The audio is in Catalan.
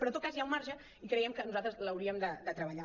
però en tot cas hi ha un marge i creiem que nosaltres l’hauríem de treballar